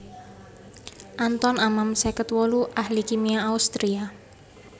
Anton Amann seket wolu ahli kimia Austria